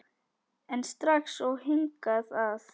En strax og hingað að